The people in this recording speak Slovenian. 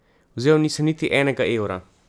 Vzel nisem niti enega evra.